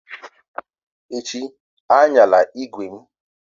Echi, ayanla ígwè m!